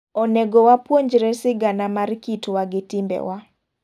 Onego wapuonjre sigana mar kit wa gi timbewa.